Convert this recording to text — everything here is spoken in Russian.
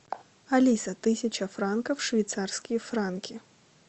алиса тысяча франков швейцарские франки